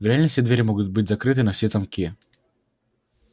в реальности двери могут быть закрыты на все замки